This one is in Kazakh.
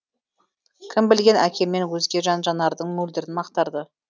кім білген әкемнен өзге жан жанардың мөлдірін мақтарды